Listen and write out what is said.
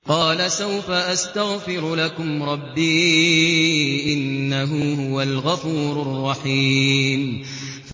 قَالَ سَوْفَ أَسْتَغْفِرُ لَكُمْ رَبِّي ۖ إِنَّهُ هُوَ الْغَفُورُ الرَّحِيمُ